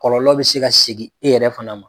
Kɔlɔlɔ bɛ se ka segin e yɛrɛ fana ma.